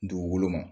Dugukolo ma